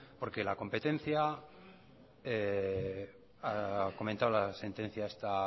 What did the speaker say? ha comentado la sentencia